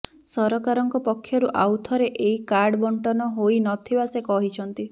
ସରକାରଙ୍କ ପକ୍ଷରୁ ଆଉଥରେ ଏହି କାର୍ଡ ବଣ୍ଟନ ହୋଇ ନ ଥିବା ସେ କହିଛନ୍ତି